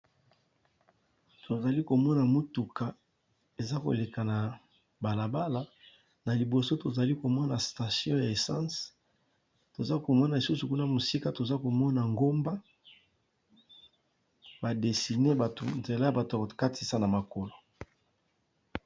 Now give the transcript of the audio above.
Tozali komona mutuka eza koleka na balabala na liboso tozomona station ya essence musika koza ngomba ba dessiner na nzela esika batu bakatisaka na makolo